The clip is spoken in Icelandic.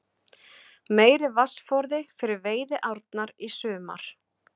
Meiri vatnsforði fyrir veiðiárnar í sumar